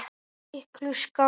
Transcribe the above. Miklu skárra.